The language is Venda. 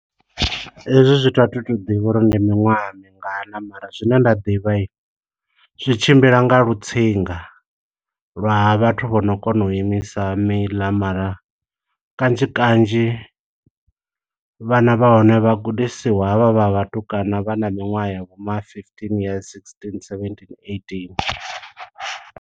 Hezwo zwithu a thi tu ḓivha uri ndi miṅwaha mingana, mara zwine nda ḓivha zwitshimbila nga lu tsinga, lwa ha vhathu vho no kona u imisa miḽa. Mara kanzhi kanzhi vhana vha hone vha gudisiwa havha vha vhatukana vha na miṅwaha ya vho ma fifteen years, sixteen, seventeen, eighteen.